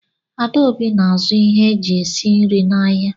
Adaobi na-azụ ihe eji esi nri n'ahịa.